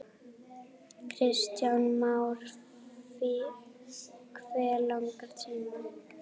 Kristján Már: Hve langan tíma?